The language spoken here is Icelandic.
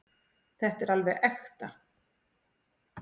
Þetta er alveg ekta.